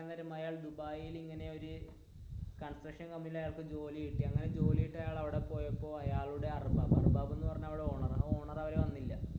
അയാൾ ദുബായിൽ ഇങ്ങനെ ഒരു കൺസ്ട്രക്ഷൻ കമ്പനിൽ അയാള്ക്ക് ജോലി കിട്ടി അങ്ങനെ ജോലി കിട്ടി അവിടെ പോയപ്പോൾ അയാളുടെ അര്ബാബ് അര്ബാബ് എന്നു പറഞ്ഞ ഓണർ ഓണർ അവിടെ വന്നില്ല